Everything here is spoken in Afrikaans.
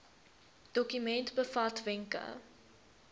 dokument bevat wenke